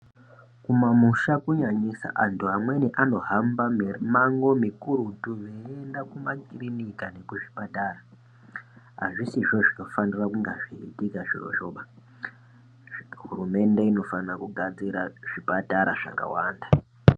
Kumamusha kunyanyisa antu amweni anohamba mimango mikurutu veienda kumakirinika nekuzvipatara azvisizvo zvinofanira kunga zveiitika zvirozvoba, hurumende inofanira kugadzira zvipatara zvakawanda.